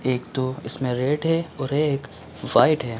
एक तो इसमें रेड है और ये एक वाइट है।